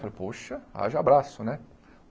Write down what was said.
Falei, poxa, haja abraço, né?